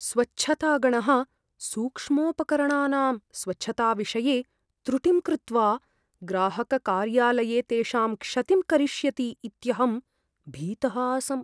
स्वच्छतागणः सूक्ष्मोपकरणानां स्वच्छताविषये त्रुटिं कृत्वा ग्राहककार्यालये तेषां क्षतिं करिष्यति इत्यहं भीतः आसम्।